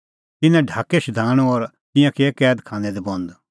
तिन्नैं ढाकै शधाणूं और तिंयां किऐ कैद खानै दी बंद